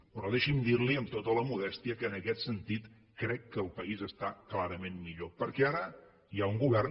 però deixi’m dir li amb tota la modèstia que en aquest sentit crec que el país està clarament millor perquè ara hi ha un govern